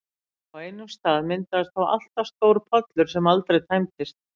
Á einum stað myndaðist þó alltaf stór pollur sem aldrei tæmdist.